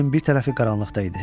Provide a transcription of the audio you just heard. Üzünün bir tərəfi qaranlıqda idi.